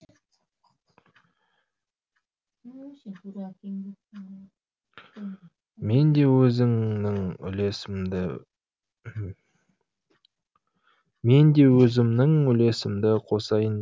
мен де өзімнің үлесімді қосайын